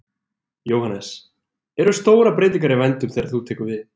Jóhannes: Eru stórar breytingar í vændum þegar þú tekur við?